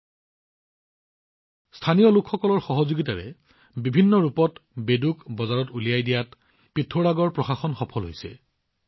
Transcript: পিথোৰাগড় প্ৰশাসনৰ পদক্ষেপ আৰু স্থানীয় লোকসকলৰ সহযোগিতাৰ সৈতে বেদুৱে বিভিন্ন ৰূপত বজাৰ লাভ কৰাত সফল হৈছে